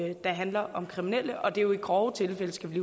det handler om kriminelle og det er jo i grove tilfælde skal vi